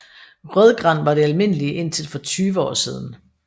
Rødgran var det almindelige indtil for 20 år siden